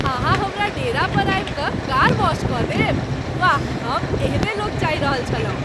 अहाँ हमरा डेरा पर आबि कऽ कार वाश कऽ देब? वाह, हम एहने लोक चाहि रहल छलहुँ।